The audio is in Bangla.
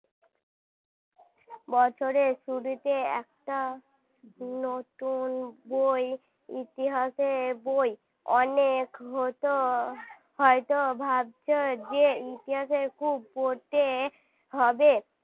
বছরের শুরুতে একটা নতুন বই ইতিহাসের বই অনেক হত হয়তো ভাবছো যে ইতিহাসে খুব পড়তে হবে